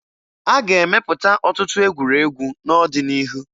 A ga-emepụta ọtụtụ egwuregwu n'ọdịnihu